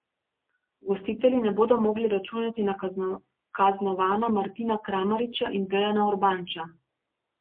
Gostitelji ne bodo mogli računati na kaznovana Martina Kramariča in Dejana Urbanča.